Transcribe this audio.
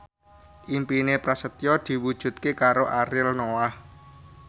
impine Prasetyo diwujudke karo Ariel Noah